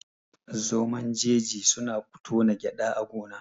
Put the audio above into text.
Zomon jeji suna tona gyada a gona